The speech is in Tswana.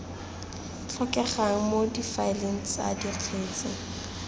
tlhokegang mo difaeleng tsa dikgetse